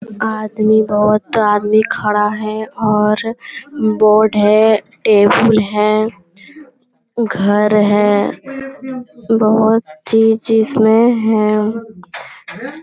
आदमी बहुत आदमी खड़ा है और बोर्ड है टेबुल है घर है बहुत चीज इसमें है ।